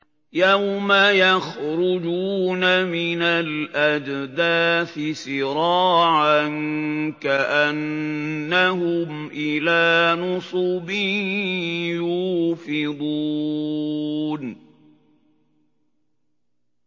يَوْمَ يَخْرُجُونَ مِنَ الْأَجْدَاثِ سِرَاعًا كَأَنَّهُمْ إِلَىٰ نُصُبٍ يُوفِضُونَ